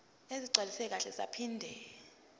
ezigcwaliswe kahle zaphinde